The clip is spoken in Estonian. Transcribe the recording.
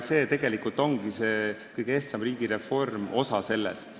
See tegelikult ongi kõige ehtsam riigireform, osa sellest.